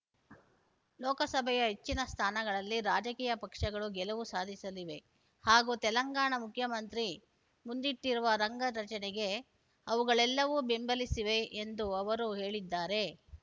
ಲೋಕಸಭೆಯ ಹೆಚ್ಚಿನ ಸ್ಥಾನಗಳಲ್ಲಿ ರಾಜಕೀಯ ಪಕ್ಷಗಳು ಗೆಲುವು ಸಾಧಿಸಲಿವೆ ಹಾಗೂ ತೆಲಂಗಾಣ ಮುಖ್ಯಮಂತ್ರಿ ಮುಂದಿಟ್ಟಿರುವ ರಂಗ ರಚನೆಗೆ ಅವುಗಳೆಲ್ಲವೂ ಬೆಂಬಲಿಸಿಲಿವೆ ಎಂದು ಅವರು ಹೇಳಿದ್ದಾರೆ